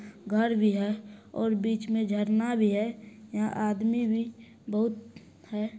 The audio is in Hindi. घर भी है और बीच मे झरना भी है। यहां आदमी भी बहुत हैं।